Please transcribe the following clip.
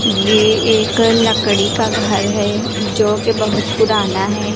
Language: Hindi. ये एक लकड़ी का घर है जो कि बहुत पुराना है।